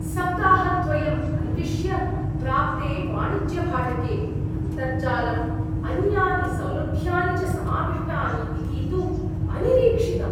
सप्ताहद्वयं अन्विश्य प्राप्ते वाणिज्यभाटके अन्तर्जालं, अन्यानि सौलभ्यानि च समाविष्टानि इति तु अनिरीक्षितम्।